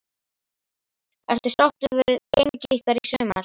Ertu sáttur við gengi ykkar í sumar?